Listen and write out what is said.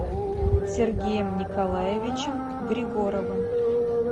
сергеем николаевичем григоровым